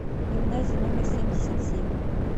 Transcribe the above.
гимназия номер семьдесят семь